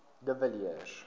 de villiers